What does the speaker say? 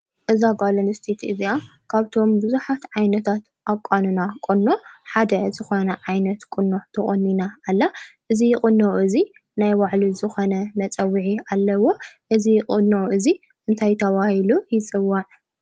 እዛ ጓል ኣስተይቲ እዚኣ ካብቶም ብዙሓት ዓይነታት ኣቋንና ቁኖ ሓደ ዝኾነ ዓይነት ቁኖ ተቆኒና ኣላ ።እዚ ቁኖ እዚ ናይ ባዕሉ ዝኾነ መፀዊዒ ኣለዎ ።እዚ ቁኖ እዚ እንታይ ተባሂሉ ይፅዋዕ ?